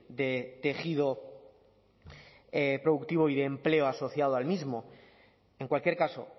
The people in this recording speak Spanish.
de tejido productivo y de empleo asociado al mismo en cualquier caso